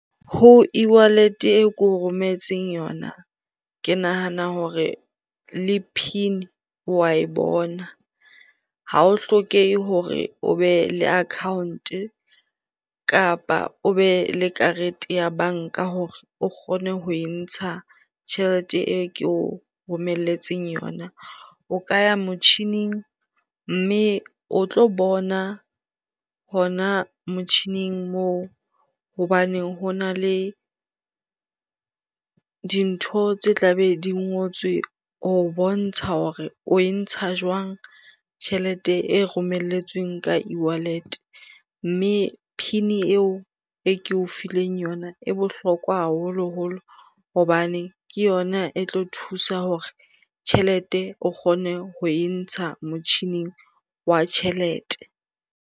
Ho e-wallet e ke o rometseng yona, ke nahana hore le PIN wa e bona. Ha ho hlokehe hore o be le account-e kapa o be le karete ya banka hore o kgone ho e ntsha tjhelete eo ke o romeletseng yona. O ka ya motjhining mme o tlo bona hona motjhining moo hobane hona le dintho tse tla be di ngotswe ho bontsha hore oe ntsha jwang tjhelete e romelletsweng ka e-wallet. Mme PIN eo e ke o fileng yona e bohlokwa haholoholo hobane ke yona e tlo thusa hore tjhelete o kgone ho e ntsha motjhining wa tjhelete.